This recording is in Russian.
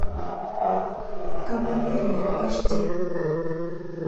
кавалерия аш ди